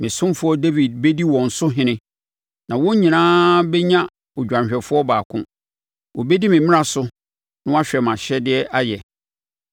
“ ‘Me ɔsomfoɔ Dawid bɛdi wɔn so ɔhene na wɔn nyinaa bɛnya odwanhwɛfoɔ baako. Wɔbɛdi me mmara so na wɔahwɛ mʼahyɛdeɛ ayɛ.